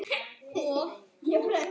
Hvernig býrðu þarna úti?